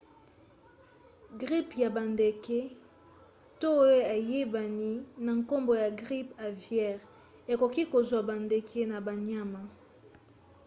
gripe ya bandeke to oyo eyebani na nkombo ya gripe aviaire ekoki kozwa bandeke na banyama